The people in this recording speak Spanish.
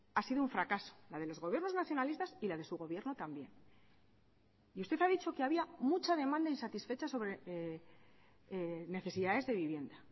ha sido un fracaso la de los gobiernos nacionalistas y la de su gobierno también y usted ha dicho que había mucha demanda insatisfecha sobre necesidades de vivienda